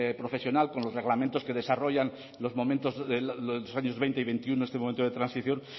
profesional con los reglamentos que desarrollan los momentos los años veinte y veintiuno este momento de transición